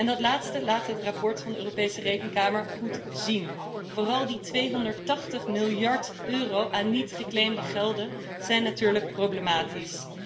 Dat laatste laat het verslag van de Europese Rekenkamer goed zien. Vooral die 280 miljard euro aan niet geclaimde gelden zijn natuurlijk problematisch.